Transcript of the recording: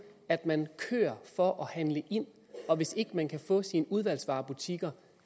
at man kører for at handle ind og hvis ikke man kan få sine udvalgsvarebutikker